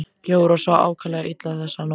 Jóra svaf ákaflega illa þessa nótt.